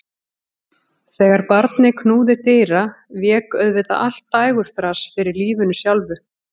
Þegar barnið knúði dyra vék auðvitað allt dægurþras fyrir lífinu sjálfu.